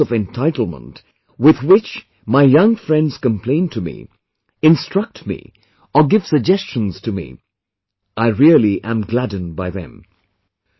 The love and sense of entitlement with which my young friends complain to me, instruct me or give suggestions to me I really am gladdened by them